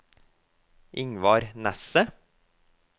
Ingvar Nesset